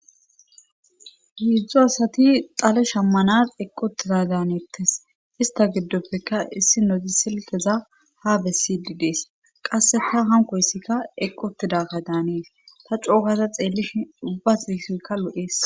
hidzdzo asati xale shammanas eqqotiza daanettes ista giddoppeka issi noti silteza ha bessididees qasse ta hankoyssikka eqqotidaka daanees ta cookaza xeellish ubbas iisoykka lodhees